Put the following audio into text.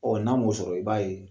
Ɔ n'a muso sɔrɔ i b'a ye